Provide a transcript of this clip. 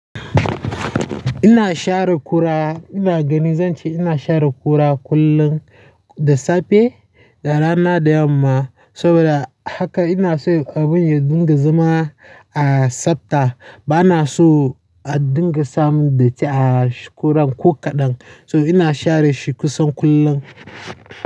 Ina share kura, ina gani zanci ina share kura kullum da safe da rana da yamma. Saboda haka ina so abun ya dinga zama a tsabta. Ba na so a dinga samun datti a kuran ko kaɗan. So ina share shi kusan kullum.